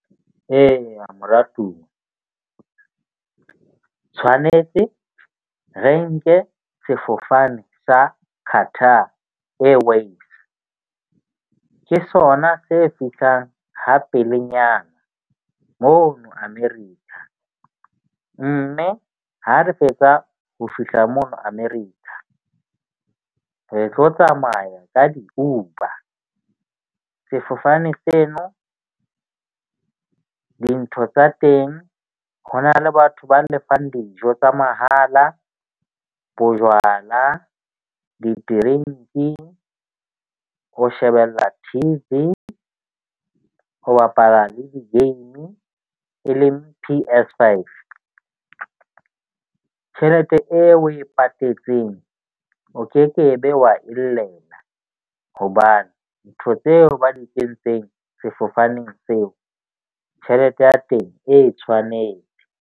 Eya, moratuwa tshwanetse re nke sefofane sa Carter ke sona se fihlang ha pelenyana mono America. Mme ha re fetsa ho fihla mono America. Re tlo tsamaya ka di-Uber. Sefofane seno dintho tsa teng, ho na le batho ba lefang dijo tsa mahala, bojwala, di-drink-i, ho shebella T_V, ho bapala le di-game e leng P_S5 tjhelete eo o e patetseng o ke ke be wa e llela. Hobane ntho tseo ba di kentseng sefofaneng seo. Tjhelete ya teng e tshwanetse.